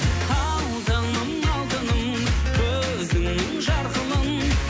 алтыным алтыным көзіңнің жарқылын